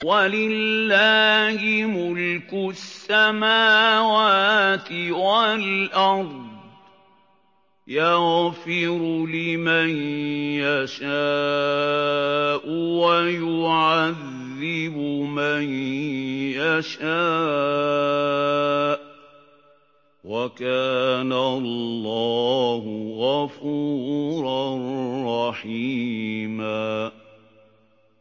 وَلِلَّهِ مُلْكُ السَّمَاوَاتِ وَالْأَرْضِ ۚ يَغْفِرُ لِمَن يَشَاءُ وَيُعَذِّبُ مَن يَشَاءُ ۚ وَكَانَ اللَّهُ غَفُورًا رَّحِيمًا